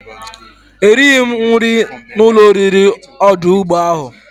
Erighi m nri na ulo oriri odu ugbo ahu.